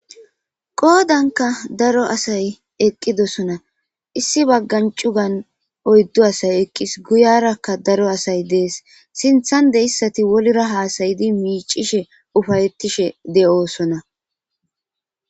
Qoodanka daro asay eqqidosona issi baggancugan oyddu asay eqqis guyarakka daro asay dees sinthan de issati wolra haasayidi miicishe ufayettishe de7oosona.